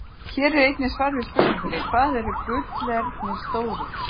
Hér er einnig svar við spurningunni: Hvað eru gullernir stórir?